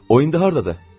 O indi hardadır?